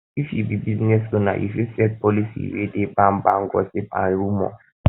if you be business owner you fit set policy wey dey ban ban gossip and rumour